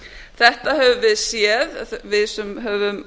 þetta höfum við séð við sem höfum